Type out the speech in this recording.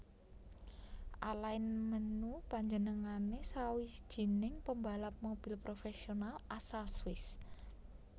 Alain Menu Panjenengané sawijining pambalap mobil professional asal Swiss